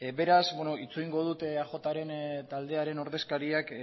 beraz beno itxarongo dut eajren taldearen ordezkariak